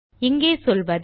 இங்கே சொல்வது